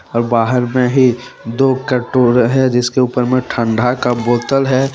और बाहर में ही दो है जिसके ऊपर में ठंडा का बोतल है।